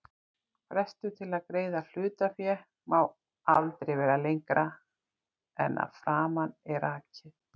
Frestur til að greiða hlutaféð má aldrei vera lengra en að framan er rakið.